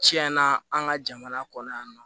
Tiɲɛna an ka jamana kɔnɔ yan nɔ